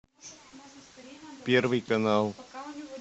первый канал